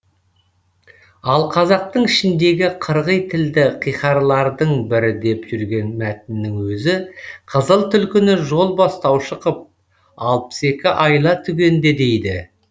ал қазақтың ішіндегі қырғи тілді қиқарлардың бірі деп жүрген мәтіннің өзі қызыл түлкіні жол бастаушы қып алпыс екі айла түгенде дейді